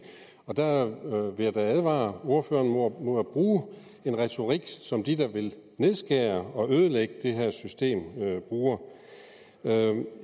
og der vil jeg da advare ordføreren mod at bruge en retorik som de der vil nedskære og ødelægge det her system bruger